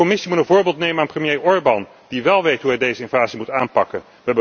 De Commissie moet een voorbeeld nemen aan premier Orbán die wel weet hoe hij deze invasie moet aanpakken.